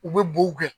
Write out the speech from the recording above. U bɛ bo kɛ